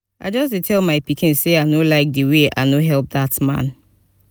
i just dey tell my pikin say i no like the way i no help dat man